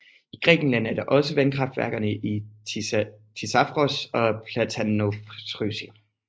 I Grækenland er der også vandkraftværkerne i Thisavros og Platanovrysi